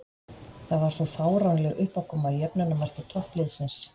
Það var svo fáránleg uppákoma í jöfnunarmarki toppliðsins.